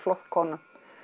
kona